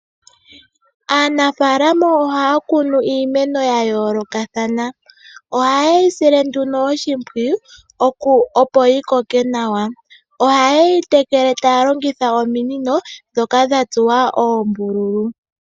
Aanafaalama ohaya kunu iimeno yayoolokathana, oha ye yi sile nduno oshimpwiyu opo yikoke nawa. Oha yeyi tekele taya longitha ominino dhoka dhatsuwa oombululu.